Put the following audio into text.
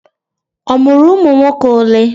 O mụrụ ụmụnwoke ole?